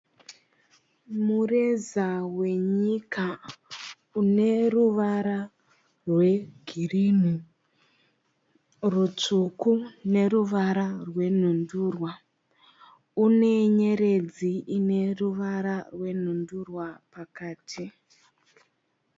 Mureza wenyika une ruvara rwegirini, rutsvuku neruvara rwenhundurwa. Une nyeredzi ine ruvara rwenhundurwa pakati.